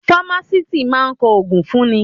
Fámásìst máa kọ ògùn fún ni.